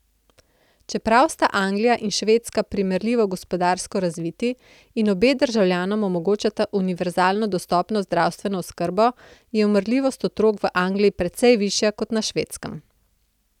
Čeprav sta Anglija in Švedska primerljivo gospodarsko razviti in obe državljanom omogočata univerzalno dostopno zdravstveno oskrbo, je umrljivost otrok v Angliji precej višja kot na Švedskem.